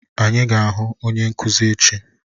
Anyị ga-ahụ onye nkuzi echi.